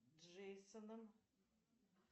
джейсоном